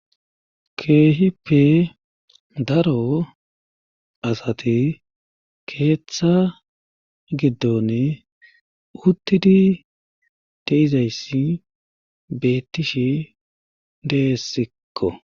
keehippe daro asati keeththa giddon uttidi deizayssi bettishi deessikko